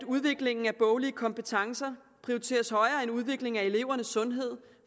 udviklingen af boglige kompetencer prioriteres højere end udviklingen af elevernes sundhed